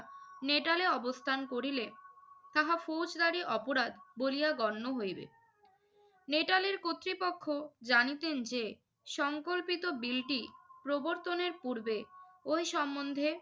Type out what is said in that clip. নেটালে অবস্থান করিলে তাহা ফৌজদারি অপরাধ বলিয়া গণ্য হইবে। নেটালের কর্তৃপক্ষ জানিতেন যে সঙ্কল্পিত বিলটি প্রবর্তনের পূর্বে ওই সম্বন্ধে